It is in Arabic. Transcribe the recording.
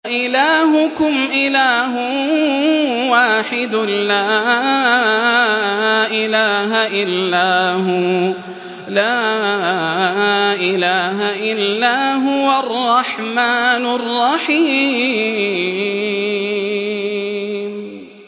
وَإِلَٰهُكُمْ إِلَٰهٌ وَاحِدٌ ۖ لَّا إِلَٰهَ إِلَّا هُوَ الرَّحْمَٰنُ الرَّحِيمُ